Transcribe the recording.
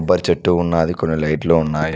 కొబ్బరి చెట్టు ఉన్నాది కొన్ని లైట్లు ఉన్నాయి.